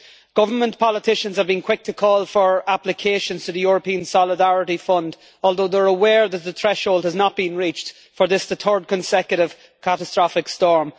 Government politicians have been quick to call for applications to the European Solidarity Fund, although they are aware that the threshold has not been reached for this third consecutive catastrophic storm.